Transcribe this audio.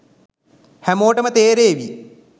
හැමෝටම තේරේවි